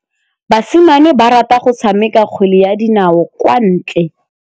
Basimane ba rata go tshameka kgwele ya dinaô kwa ntle.